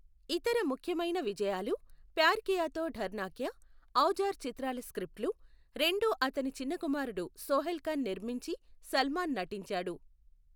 ఇతర ముఖ్యమైన విజయాలు ప్యార్ కియా తో డర్నా క్యా, ఔజార్ చిత్రాల స్క్రిప్టులు, రెండూ అతని చిన్న కుమారుడు సోహైల్ ఖాన్ నిర్మించి సల్మాన్ నటించాడు.